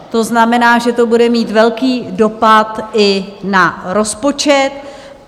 To znamená, že to bude mít velký dopad i na rozpočet.